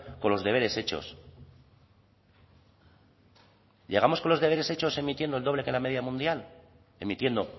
con los deberes hechos llegamos con los deberes hechos emitiendo el doble que la media mundial emitiendo